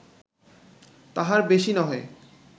-তাহার বেশি নহে